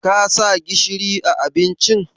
Ka sa gishiri a abincin?